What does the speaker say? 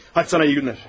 Hə, sənə yaxşı günlər.